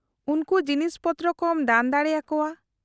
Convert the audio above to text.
-ᱩᱱᱠᱩ ᱡᱤᱱᱤᱥ ᱯᱚᱛᱨᱚ ᱠᱚᱢ ᱫᱟᱱ ᱫᱟᱲᱮ ᱟᱠᱚᱣᱟ ᱾